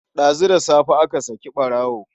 Ɗazu da safe aka saki ɓarawon.